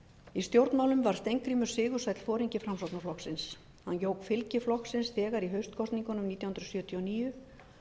í stjórnmálum varð steingrímur sigursæll foringi framsóknarflokksins hann jók fylgi flokksins þegar í haustkosningunum nítján hundruð sjötíu og níu